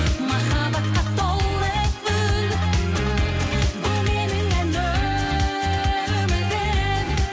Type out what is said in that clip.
махаббатқа толы үн бұл менің ән өмірім